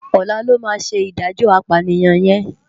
Òlá lò má sé idájò ápániyan yèn